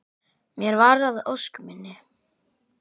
Mér varð að ósk minni.